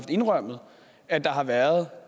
indrømmet at der har været